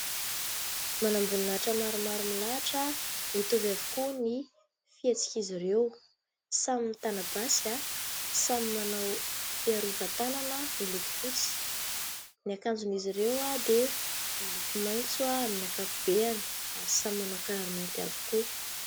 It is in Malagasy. Manam-boninahitra maromaro milahatra, mitovy avokoa ny fihetsik'izy ireo, samy mitana basy, samy manao fiarovan-tanana miloko fotsy, ny akanjon'izy ireo dia miloko maitso amin'ny ankapobeny ary samy manao kiraro mainty avokoa.